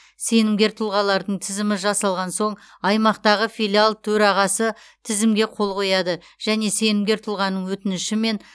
сенімгер тұлғалардың тізімі жасалған соң аймақтағы филиал төрағасы тізімге қол қояды және сенімгер тұлғаның өтінішімен